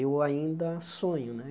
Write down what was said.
eu ainda sonho né.